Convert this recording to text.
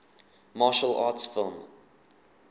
martial arts film